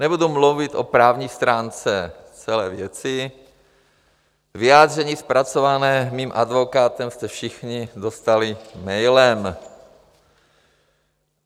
Nebudu mluvit o právní stránce celé věci, vyjádření zpracované mým advokátem jste všichni dostali mailem.